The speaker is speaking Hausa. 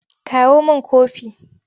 Kawo min kofi!